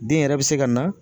Den yɛrɛ bɛ se ka na.